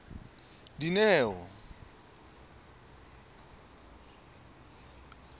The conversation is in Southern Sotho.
dineo